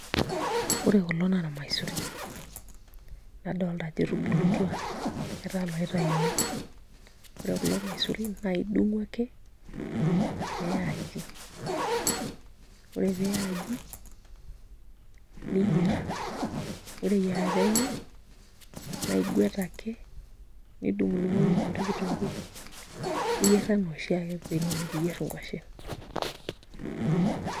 Ore kulo naa irmaisurin nadolta ajo etubulutua etaa iloituyuni, ore kulo maisurin naa idung'u ake niya aji ore pee iya aji niyierr ore eyiarata enye naa iguet ake nidung'udung'oki emoti kitunguu niyierr ena oshiake venye nikiyierr nkuashen.